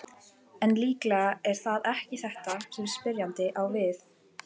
En líklega er það ekki þetta sem spyrjandi á við.